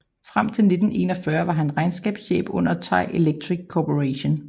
Frem til 1941 var han regnskabschef under Thai Electric Corporation